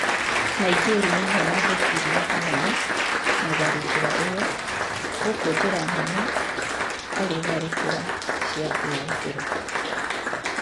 Nigeria nĩyo yahutirio hanene na tharĩkĩra ĩyo gũkũ njĩra nene arĩ tharĩkĩra cĩa kwĩgitĩra